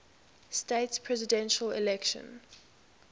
states presidential election